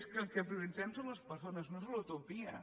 és que el que prioritzem són les persones no és una utopia